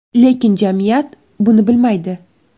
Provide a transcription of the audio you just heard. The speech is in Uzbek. Lekin jamiyat buni bilmaydi.